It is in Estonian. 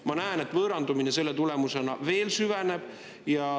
Ma näen, et võõrandumine selle tulemusena veel süveneb.